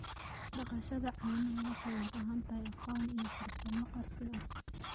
Dhaqashada caanaha waxay u baahan tahay aqoon iyo farsamo casri ah.